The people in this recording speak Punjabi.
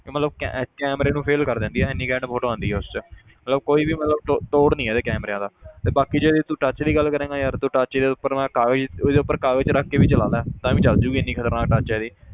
ਤੇ ਮਤਲਬ ਕੈ~ camera ਨੂੰ fail ਕਰ ਦਿੰਦੀ ਹੈ ਇੰਨੀ ਘੈਂਟ photo ਆਉਂਦੀ ਹੈ ਉਸ 'ਚ ਮਤਲਬ ਕੋਈ ਵੀ ਮਤਲਬ ਤੋ~ ਤੋੜ ਨੀ ਇਹਦੇ cameras ਦਾ ਤੇ ਬਾਕੀ ਜੇ ਤੂੰ touch ਦੀ ਗੱਲ ਕਰੇਂਗਾ ਯਾਰ ਤੂੰ touch ਜੇ ਤੈਨੂੰ ਮੈਂ ਕਾਗਜ਼ ਉਹਦੇ ਉੱਪਰ ਕਾਗਜ਼ ਰੱਖ ਕੇ ਵੀ ਚਲਾ ਲੈ ਤਾਂ ਵੀ ਚੱਲ ਜਾਏਗੀ ਇੰਨੀ ਖ਼ਤਰਨਾਕ touch ਹੈ ਇਹਦੀ